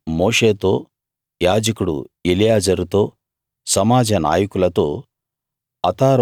వారు మోషేతో యాజకుడు ఎలియాజరుతో సమాజ నాయకులతో